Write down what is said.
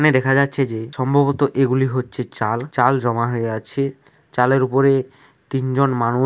এখানে দেখা যাচ্ছে যে সম্ভবত এগুলি হচ্ছে চাল চাল জমা হয়ে আছে চালের উপরে তিনজন মানুষ--